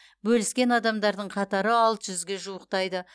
бөліскен адамдардың қатары алты жүзге жуықтайды